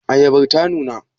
Ayabar ta nuna?